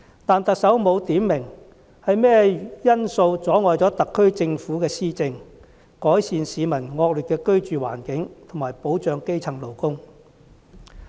但是，特首沒有點明是甚麼因素阻礙了特區政府的施政，改善市民惡劣的居住環境和保障基層勞工。